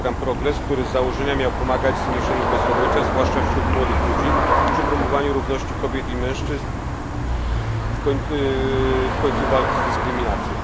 na program Progres, który z założenia miał pomagać w zmniejszeniu bezrobocia, zwłaszcza wśród młodych ludzi czy promowaniu równości kobiet i mężczyzn i walki z dyskryminacją.